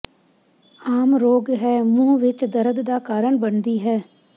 ਆਮ ਰੋਗ ਹੈ ਮੂੰਹ ਵਿੱਚ ਦਰਦ ਦਾ ਕਾਰਨ ਬਣਦੀ ਹੈ